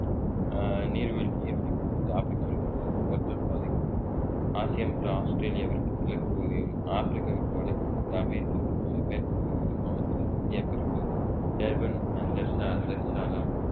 ஆஹ் நீர்வழி நீர்வழி போக்குவரத்து ஆப்ரிக்காவில் கடல் வர்த்தக பாதைகள் ஆசியா மற்றும் ஆஸ்திரேலியாவிற்கு கிழக்கு பகுதியும் ஆப்பிரிக்காவிற்கு வடக்கு பகுதி அமெரிக்காவிற்கு ம~ மேற்கு பகுதியிலும் அமைந்துள்ளது இந்திய பெருங்கடலில் டர்பன் அஹ் டர்சா ~ டர்சாலா